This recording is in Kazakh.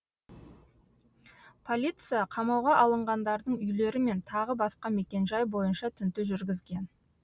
полиция қамауға алынғандардың үйлері мен тағы басқа мекенжай бойынша тінту жүргізген